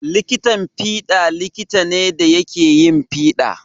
Likitan fiɗa likita ne da yake yin fiɗa.